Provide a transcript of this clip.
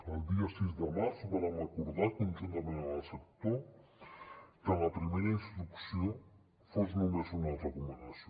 el dia sis de març vàrem acordar conjuntament amb el sector que la primera instrucció fos només una recomanació